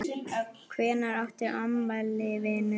Hvenær áttu afmæli vinur?